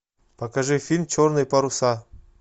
покажи фильм черные паруса